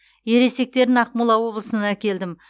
ересектерін ақмола облысынан әкелдім